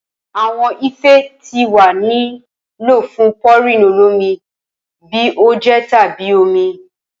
Awọn ife ti wa ni lo fun pouring olomi bi oje tabi omi